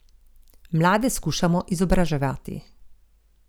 Mlade skušamo izobraževati.